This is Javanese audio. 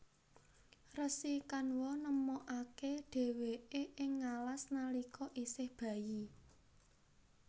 Resi Kanwa nemokaké dhèwèké ing ngalas nalika isih bayi